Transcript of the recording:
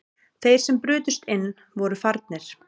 Þeir sem brutust inn voru farnir